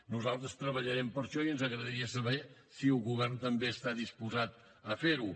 nosaltres treballarem per això i ens agradaria saber si el govern també està disposat a fer ho